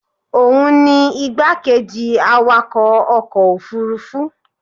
òun ni igbákejì awakọ̀ ọkọ̀ òfurufú